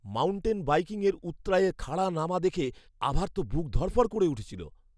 Mountain বাইকিংয়ের উৎরাইয়ে খাড়া নামা দেখে আভার তো বুক ধড়ফড় করে উঠেছিল।